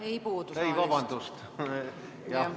Ei puudu, vabandust!